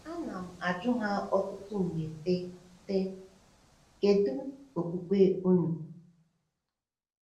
Ana m-ajụ ha ọtụtụ mgbe, sị: sị: “Kedu okpukpe unu?”